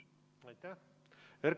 Aitäh!